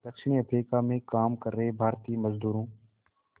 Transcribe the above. दक्षिण अफ्रीका में काम कर रहे भारतीय मज़दूरों